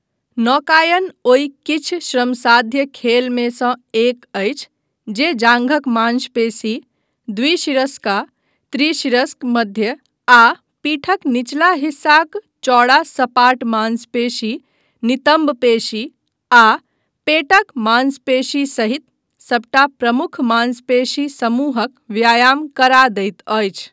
नौकायन ओहि किछु श्रमसाध्य खेलमेसँ एक अछि जे जाँघक मांशपेशी, द्विशिरस्का, त्रिशिरस्क, मध्य आ पीठक निचला हिस्साक चौड़ा सपाट मांसपेशी, नितम्बपेशी आ पेटक मांसपेशी सहित सबटा प्रमुख मांसपेशी समूहक व्यायाम करा दैत अछि।